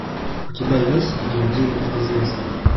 у тебя есть видео девять неизвестных